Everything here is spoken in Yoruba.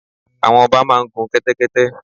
Àwọn ọba máa ń gun kẹ́tẹ́kẹ́tẹ́.